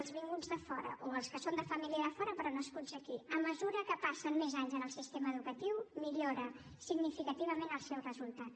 els vinguts de fora o els que són de família de fora però nascuts aquí passen més anys en el sistema educatiu millora significativament el seu resultat